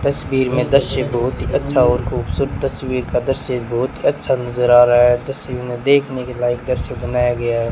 तस्वीर में दृश्य बहुत ही अच्छा और खूबसूरत तस्वीर का दृश्य बहुत अच्छा नजर आ रहा है तस्वीर में देखने के लायक दृश्य बनाया गया है।